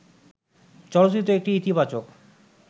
চলচ্চিত্র একটি ইতিবাচক